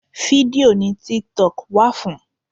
Fídíò ni tiktok wà fún.